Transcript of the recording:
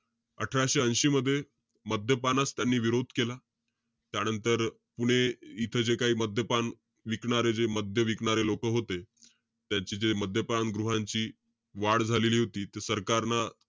अठराशे ऐशी मध्ये, मद्यपानास त्यांनी विरोध केला. त्यानंतर, पुणे इथे जे काई मद्यपान विकणारे जे, मद्य विकणारे लोकं होते. त्यांचे जे मद्यपान गृहांची वाढ झालेली होती. सरकारंन,